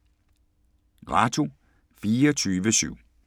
Radio24syv